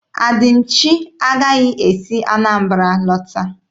Adịmchi agaghị esi Anambara lọta.